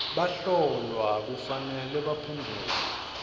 bahlolwa kufanele baphendvule